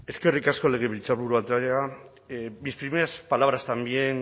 eskerrik asko legebiltzarburu andrea mis primeras palabras también